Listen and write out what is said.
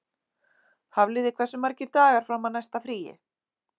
Hafliði, hversu margir dagar fram að næsta fríi?